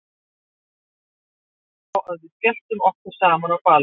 Svo stakk einhver upp á að við skelltum okkur saman á ball.